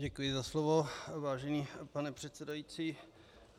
Děkuji za slovo, vážený pane předsedající.